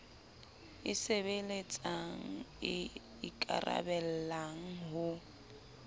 e sebeletsang e ikaraballang ho